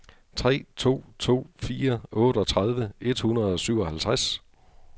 tre to to fire otteogtredive et hundrede og syvoghalvtreds